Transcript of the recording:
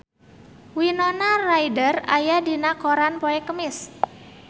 Winona Ryder aya dina koran poe Kemis